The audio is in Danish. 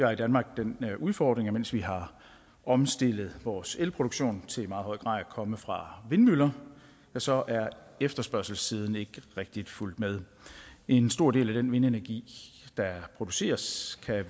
har i danmark den udfordring at mens vi har omstillet vores elproduktion til i meget høj grad at komme fra vindmøller så er efterspørgselssiden ikke rigtigt fulgt med en stor del af den vindenergi der produceres kan